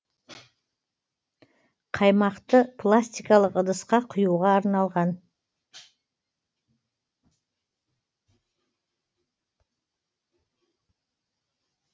қаймақты пластикалық ыдысқа құюға арналған